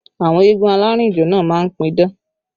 Àwọn eégún alárìnjó náà má ń pidán